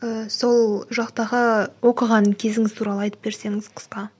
ііі сол жақтағы оқыған кезіңіз туралы айтып берсеңіз қысқа